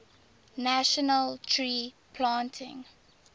national tree planting